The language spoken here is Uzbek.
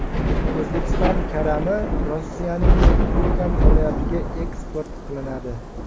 O‘zbekiston karami Rossiyaning Kurgan viloyatiga eksport qilinadi.